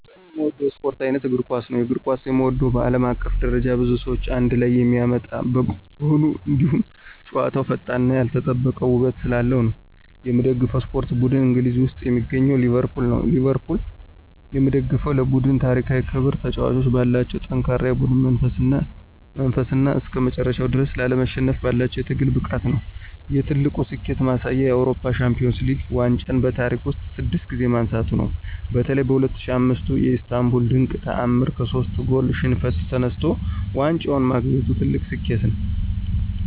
በጣም የምወደው የስፖርት ዓይነት እግር ኳስ ነው። የእግር ኳስን የምወደው በዓለም አቀፍ ደረጃ ብዙ ሰዎችን አንድ ላይ የሚያመጣ በመሆኑ፣ እንዲሁም ጨዋታው ፈጣንነትና ያልተጠበቀ ውበት ስላለው ነው። የምደግፈው የስፖርት ቡድን እንግሊዝ ውስጥ የሚገኘው ሊቨርፑል ነው። ሊቨርፑልን የምደግፈው ለቡድኑ ታሪካዊ ክብር፣ ተጫዋቾቹ ባላቸው ጠንካራ የቡድን መንፈስና እስከመጨረሻው ድረስ ላለመሸነፍ ባላቸው የትግል ብቃት ነው። የትልቁ ስኬቱ ማሳያ የአውሮፓ ሻምፒዮንስ ሊግ ዋንጫን በታሪክ ውስጥ ስድስት ጊዜ ማንሳቱ ነው። በተለይ በ2005ቱ የኢስታንቡል ድንቅ ተዓምር ከሶስት ጎል ሽንፈት ተነስቶ ዋንጫውን ማግኘቱ ትልቁ ስኬቱ ነው።